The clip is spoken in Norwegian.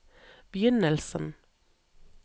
begynnelsen